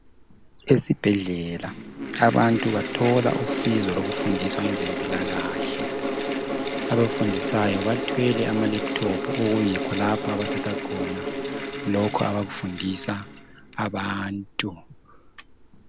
Ezibhedlela abantu bathola usizo lokufundiswa ngezempilakahle abafundisayo bathwele amaLaptop okuyikho lapha bathatha khona loku abakufundisa abantu